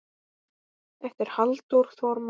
eftir Halldór Þormar